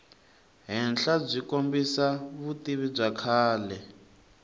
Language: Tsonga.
henhlabyi kombisa vutivi bya kahle